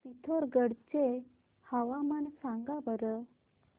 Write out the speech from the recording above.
पिथोरगढ चे हवामान सांगा बरं